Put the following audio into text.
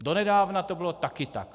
Donedávna to bylo taky tak.